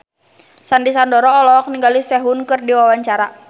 Sandy Sandoro olohok ningali Sehun keur diwawancara